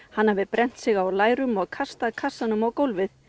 hann hafi brennt sig á læri og kastað kassanum á gólfið